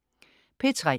P3: